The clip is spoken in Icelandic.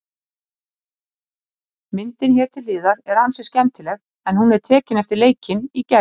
Myndin hér til hliðar er ansi skemmtileg en hún er tekin eftir leikinn í gær.